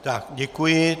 Tak, děkuji.